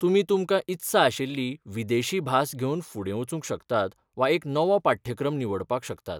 तुमी तुमकां इत्सा आशिल्ली विदेशी भास घेवन फुडें वचूंक शकतात वा एक नवो पाठ्यक्रम निवडपाक शकतात.